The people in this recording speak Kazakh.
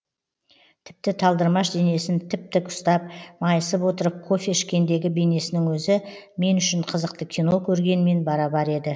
тіпті талдырмаш денесін тіп тік ұстап майысып отырып кофе ішкендегі бейнесінің өзі мен үшін қызықты кино көргенмен бара бар еді